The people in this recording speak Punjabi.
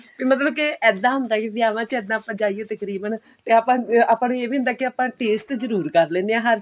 ਤੇ ਮਤਲਬ ਕੇ ਇੱਦਾਂ ਹੁੰਦਾ ਵਿਆਵਾਂ ਚ ਇੱਦਾਂ ਆਪਾਂ ਜਾਈਦਾ ਤਕਰੀਬਨ ਤੇ ਆਪਾਂ ਆਪਾਂ ਨੂੰ ਇਹ ਵੀ ਹੁੰਦਾ ਕੀ ਆਪਾਂ taste ਜਰੁਰ ਕਰ ਲੈਂਦੇ ਆਂ ਹਰ